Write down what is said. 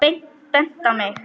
Bent á mig!